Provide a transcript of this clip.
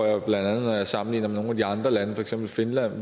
jeg bla når jeg sammenligner med nogle af de andre lande for eksempel finland